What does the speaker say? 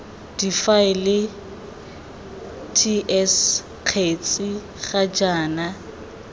difaele ts kgetsi ga jaana